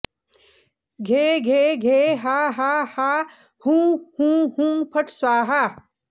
घे घे घे हा हा हा हुं हुं हुं फट् स्वाहा